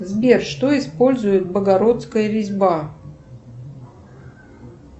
сбер что использует богородская резьба